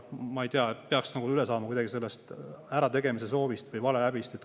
Ma ei tea, peaks nagu üle saama sellest ärategemise soovist või valehäbist.